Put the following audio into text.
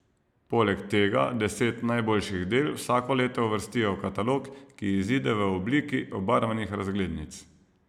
Poleg tega deset najboljših del vsako leto uvrstijo v katalog, ki izide v obliki barvnih razglednic.